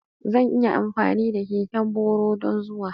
Zan iya amfani da keken boro don zuwa?